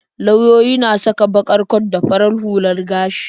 Lauyoyi na saka baƙar kwat da farar hular gashi.